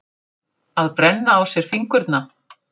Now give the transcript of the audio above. Að brenna á sér fingurna